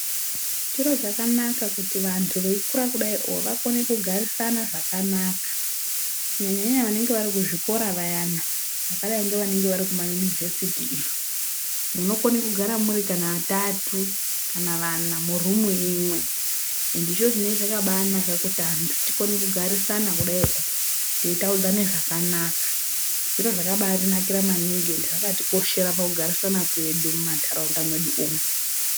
Chiro chakanaka kuti vantu veyi kura kudaiwo vakone kugarisana zvakanaka. Kunyanya nyanya vanenge vari kuzvikora vayana, vakadai ngevari kuzvikora zvepadera iyo, munokone kugara muri vatatu kana vana murumu imwe, zvinenge zvakabanaka kuti vantu tikone kugarisana kudai teyitaudzane zvakanaka. Zviro zvakabatinakira maningi uye zvakati koshera pakugarisana kwedu mumantaraunda mwedu umwu.